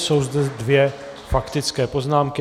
Jsou zde dvě faktické poznámky.